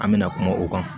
An bɛna kuma o kan